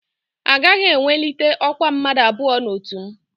Agaghị ewelite ọkwa mmadụ abụọ n'otu m